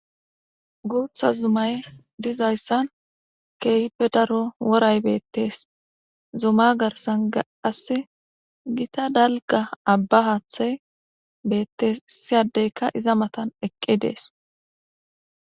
guutha zumay dizayssan keehippe daro woray beettees zuma garsan gaas gita dalga abba haathay bettessiyadeyka iza matan eqqi dees